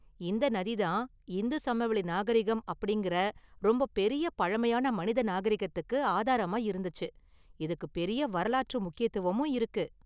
இந்த நதி தான், இந்து சமவெளி நாகரிகம் அப்படிங்கற ரொம்ப பெரிய பழமையான மனித நாகரிகத்துக்கு ஆதாரமா இருந்துச்சு, இதுக்கு பெரிய வரலாற்று முக்கியத்துவமும் இருக்கு.